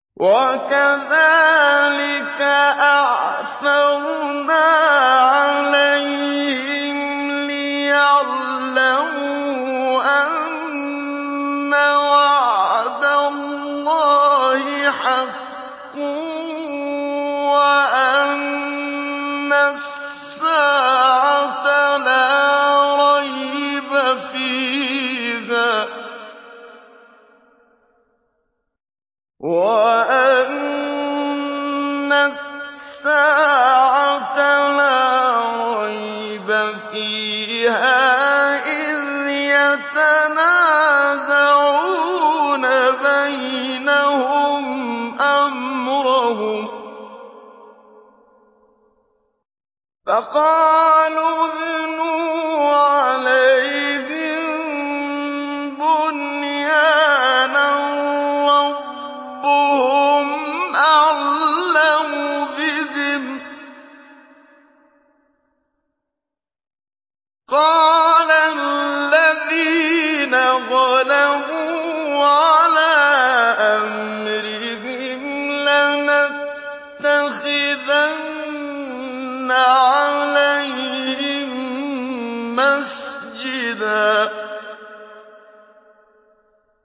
وَكَذَٰلِكَ أَعْثَرْنَا عَلَيْهِمْ لِيَعْلَمُوا أَنَّ وَعْدَ اللَّهِ حَقٌّ وَأَنَّ السَّاعَةَ لَا رَيْبَ فِيهَا إِذْ يَتَنَازَعُونَ بَيْنَهُمْ أَمْرَهُمْ ۖ فَقَالُوا ابْنُوا عَلَيْهِم بُنْيَانًا ۖ رَّبُّهُمْ أَعْلَمُ بِهِمْ ۚ قَالَ الَّذِينَ غَلَبُوا عَلَىٰ أَمْرِهِمْ لَنَتَّخِذَنَّ عَلَيْهِم مَّسْجِدًا